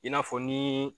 I n'a fɔ ni